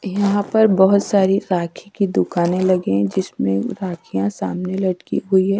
यहां पर बहुत सारी राखी की दुकानें लगी है जिसमें राखियां सामने लटकी हुई है।